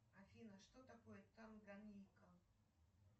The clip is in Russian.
афина что такое танганьика